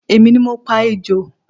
Èmi ni mo pa ejò